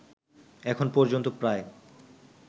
এখন পর্যন্ত প্রায়